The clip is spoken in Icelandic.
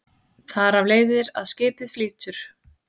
Þar af leiðir að skipið flýtur.